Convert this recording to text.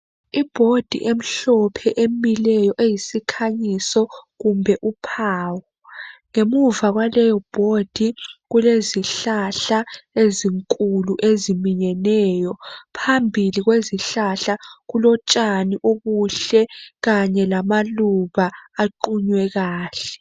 I board emhlophe emileyo eyisikhanyiso kumbe uphawu ngemuva kwaleyo board kulezihlahla ezinkulu eziminyeneyo phambili kwezihlahla kulotshani obuhle kanye lamaluba aqunywe kahle